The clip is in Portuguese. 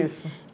Isso.